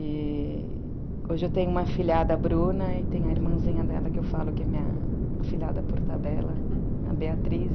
E hoje eu tenho uma filhada, a Bruna, e tem a irmãzinha dela que eu falo que é minha filhada por tabela, a Beatriz.